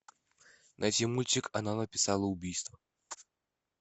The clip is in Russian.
найти мультик она написала убийство